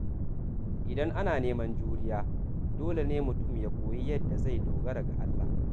Idan ana neman juriya, dole ne mutum ya koyi yadda zai dogara ga Allah.